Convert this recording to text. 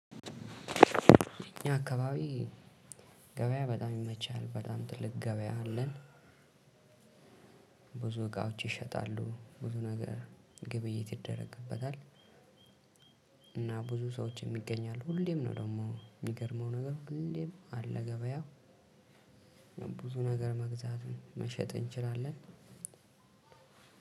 እኛ አካባቢ ገበያ በጣም ይመቻል በጣም ትልቅ ገበያ አለን። ብዙ እቃዎች ይሸጣሉ ብዙ ነገር ግብይት ይደረግበታል። እና ብዙ ሰዎች ይገኛሉ አሉ ሁሌም ነው ደግሞ የሚገርመው ነገር ሁሌም አለ ገበያ። ብዙ ነገር መግዛትም መሸጥም እንችላለን።